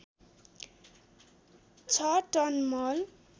६ ton मल